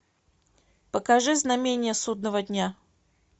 покажи знамение судного дня